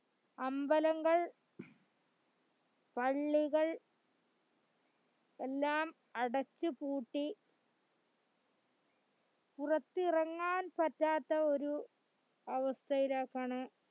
അമ്പലങ്ങൾ പള്ളികൾ എല്ലാം അടച്ച്പൂട്ട പുറത്തിറങ്ങാൻപറ്റാത്ത ഒരു അവസ്ഥയിലെക്കാണ്